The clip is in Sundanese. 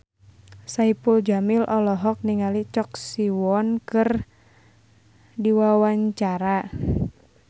Saipul Jamil olohok ningali Choi Siwon keur diwawancara